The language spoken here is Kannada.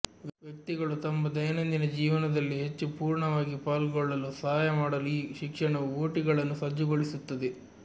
ವ್ಯಕ್ತಿಗಳು ತಮ್ಮ ದೈನಂದಿನ ಜೀವನದಲ್ಲಿ ಹೆಚ್ಚು ಪೂರ್ಣವಾಗಿ ಪಾಲ್ಗೊಳ್ಳಲು ಸಹಾಯ ಮಾಡಲು ಈ ಶಿಕ್ಷಣವು ಒಟಿಗಳನ್ನು ಸಜ್ಜುಗೊಳಿಸುತ್ತದೆ